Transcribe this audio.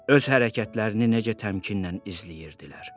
Öz hərəkətlərini necə təmkinlə izləyirdilər.